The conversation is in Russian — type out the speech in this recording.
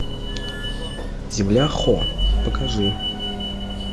земля хо покажи